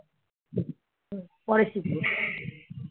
পরে শিখবি?